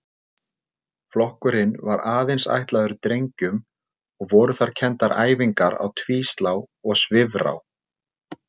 Flokkurinn var aðeins ætlaður drengjum og voru þar kenndar æfingar á tvíslá og svifrá.